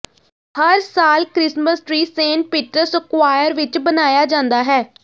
ਹਰ ਸਾਲ Christmas tree Saint Peter's Square ਵਿਚ ਬਣਾਇਆ ਜਾਂਦਾ ਹੈ